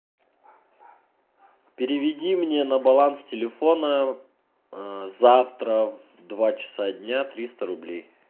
переведи мне на баланс телефона завтра в два часа дня триста рублей